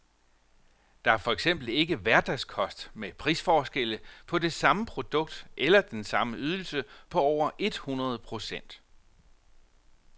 Det er for eksempel ikke hverdagskost med prisforskelle, på det samme produkt eller den samme ydelse, på over et hundrede procent.